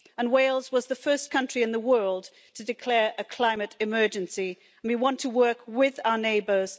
Wales was the first country in the world to declare a climate emergency, and we want to work with our neighbours.